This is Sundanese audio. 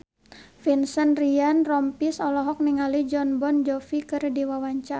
Vincent Ryan Rompies olohok ningali Jon Bon Jovi keur diwawancara